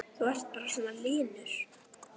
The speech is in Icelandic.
Þú ert bara svona linur!